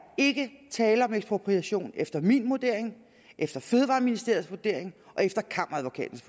tale om ekspropriation efter min vurdering efter fødevareministeriets vurdering og efter kammeradvokatens